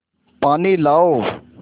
पानी लाओ